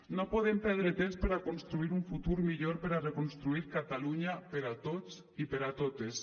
no podem perdre temps per a construir un futur millor per a reconstruir catalunya per a tots i per a totes